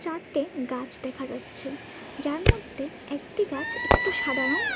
চারটে গাছ দেখা যাচ্ছে যার মধ্যে একটি গাছ একটু সাদা রঙ।